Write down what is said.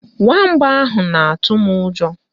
Nwamba ahụ na-atụ m ụjọ